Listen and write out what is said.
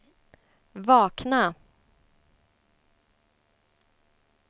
vakna